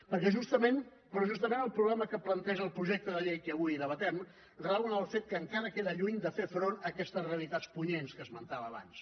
perquè justament el problema que planteja el projecte de llei que avui debatem rau en el fet que encara queda lluny de fer front a aquestes realitats punyents que esmentava abans